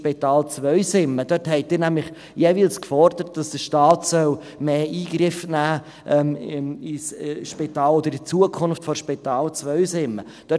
Dort forderten Sie nämlich jeweils, dass der Staat mehr Einfluss auf das Spital oder auf die Zukunft des Spitals Zweisimmen nehmen soll.